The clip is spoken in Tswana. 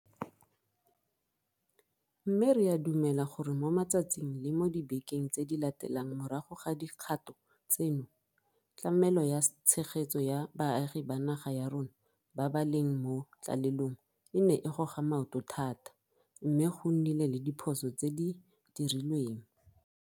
Mme re a dumela gore mo matsatsing le mo dibekeng tse di latelang morago ga dikgato tseno, tlamelo ya tshegetso ya baagi ba naga ya rona ba ba leng mo tlalelong e ne e goga maoto thata, mme go nnile le diphoso tse di dirilweng.